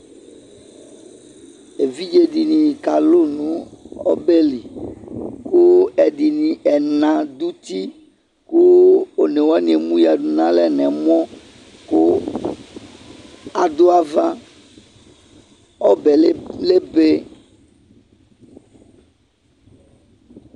Evidze dini kalʊ nu ɔbɛli ku ɛdini ɛna du uti ku one wani emuɣa du nalɛ nɛmɔ ku adu ava ɔbɛ lebe